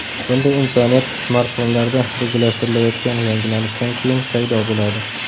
Bunday imkoniyat smartfonlarda rejalashtirilayotgan yangilanishdan keyin paydo bo‘ladi.